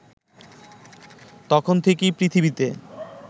তখন থেকেই পৃথিবীতে